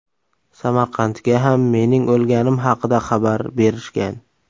Samarqandga ham mening o‘lganim haqida xabar berishgan.